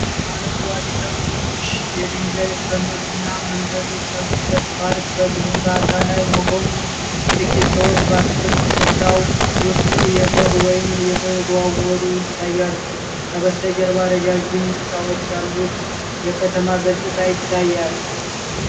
አረንጓዴ ተክሎች፣ የድንጋይ እርከኖች እና መንገዶች ያሉበት ፓርክ በግንባታ ላይ መሆኑ። ጥቂት ሰዎች በአትክልት ስፍራው ውስጥ እየሰሩ ወይም እየተዘዋወሩ ይታያሉ። ከበስተጀርባ ረዣዥም ሕንፃዎች ያሉት የከተማ ገጽታ ይታያል።